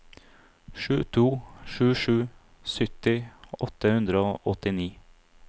sju to sju sju sytti åtte hundre og åttini